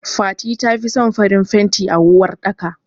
Fati tafi son farin fanti a uwar ɗaka.